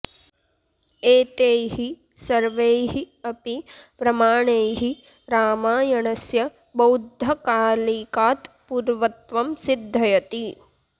एतैः सर्वैः अपि प्रमाणैः रामायणस्य बौद्धकालिकात् पूर्वत्वं सिद्धयति